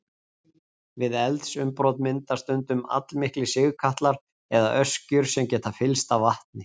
Við eldsumbrot myndast stundum allmiklir sigkatlar eða öskjur sem geta fyllst af vatni.